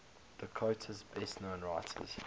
dakota's best known writers